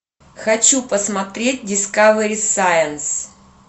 хочу посмотреть дискавери сайнс